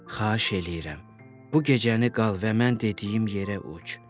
Xahiş eləyirəm, bu gecəni qal və mən dediyim yerə uç.